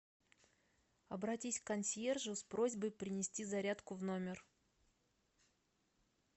обратись к консьержу с просьбой принести зарядку в номер